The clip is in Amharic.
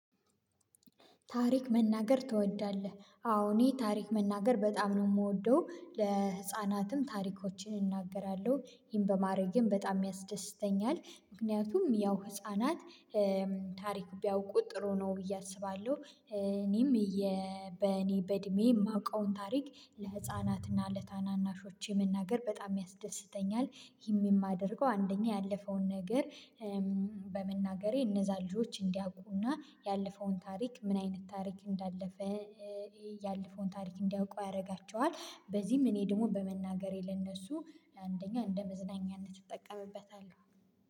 ታሪክ መናገር ትወዳለህ? አዎ እኔ ታሪክ መናገር በጣም ነው የምወደው ለህፃናትም ታሪኮችን እናገራለሁ ይሄን በማድረጌም በጣም ያስደስተኛል ምክንያቱም ያው ህፃናት ታሪክ ቢያውቁ ጥሩ ነው ብዬ አስባለሁ እኔም በእኔ በእድሜ የማውቀውን ታሪክ ለህፃናትና ለታናናሾቼ መናገር በጣም ያስደስተኛል ይህም የማደርገው አንደኛ ያለፈውን ነገር በመናገሬ እነዛ ልጆች እንዲያውቁና ያለፈውን ታሪክ ምን አይነት ታሪክ እንዳለፈ ያለፈውን ታሪክ እንዲያውቁ ያደርጋቸዋል በዚህም እኔ ደግሞ በመናገሬ ለእነሱ አንደኛ እንደ መዝናኛነት እጠቀምበታለሁ